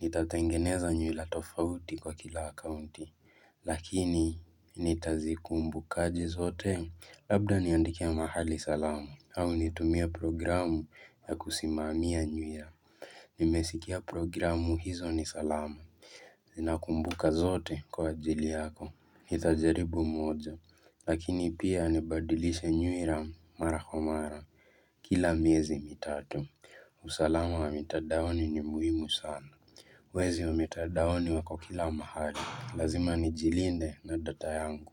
Nitatengeneza nywila tofauti kwa kila akaunti, lakini nitazikumbukaje zote. Labda niandikie mahali salamu, au nitumie programu ya kusimamia nywila. Nimesikia programu hizo ni salama Zinakumbuka zote kwa ajili yako Nitajaribu moja Lakini pia nibadilishe nywila mara kwa mara Kila miezi mitatu usalama wa mitandaoni ni muhimu sana Wezi wa mitandaoni wako kila mahali Lazima nijilinde na data yangu.